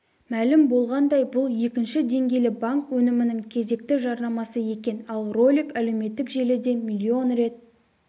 мәлім болғандай бұл екінші деңгейлі банк өнімінің кезекті жарнамасы екен ал ролик әлеуметтік желіде миллион рет